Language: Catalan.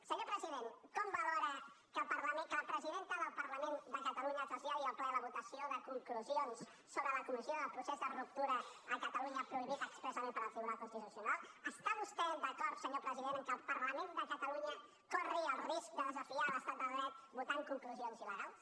senyor president com valora que la presidenta del parlament de catalunya traslladi al ple la votació de conclusions sobre la comissió del procés de ruptura a catalunya prohibit expressament pel tribunal constitucional està vostè d’acord senyor president que el parlament de catalunya corri el risc de desafiar l’estat de dret votant conclusions il·legals